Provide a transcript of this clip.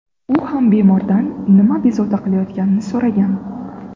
U ham bemordan nima bezovta qilayotganini so‘ragan.